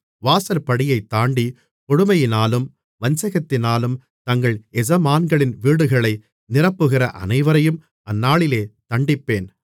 வாசற்படியைத் தாண்டி கொடுமையினாலும் வஞ்சகத்தினாலும் தங்கள் எஜமான்களின் வீடுகளை நிரப்புகிற அனைவரையும் அந்நாளிலே தண்டிப்பேன்